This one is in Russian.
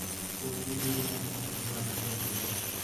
окей гугл найди фильм в жанре фэнтези